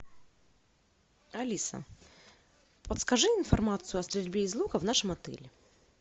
алиса подскажи информацию о стрельбе из лука в нашем отеле